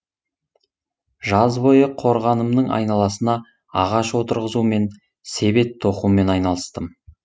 жаз бойы қорғанымның айналасына ағаш отырғызумен себет тоқумен айналыстым